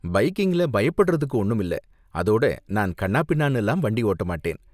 பைக்கிங்ல பயப்படறதுக்கு ஒன்னும் இல்ல, அதோட நான் கன்னாபின்னான்னுலாம் வண்டி ஓட்ட மாட்டேன்.